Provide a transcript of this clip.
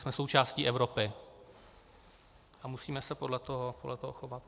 Jsme součástí Evropy a musíme se podle toho chovat.